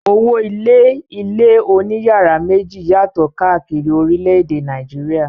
Owó-ilé ilé oníyàrá méjì yàtọ̀ káàkiri orílẹ̀-èdè Nàìjíríà.